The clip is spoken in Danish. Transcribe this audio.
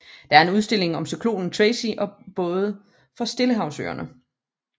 Der er en udstilling om cyklonen Tracy og både fra Stillehavsøerne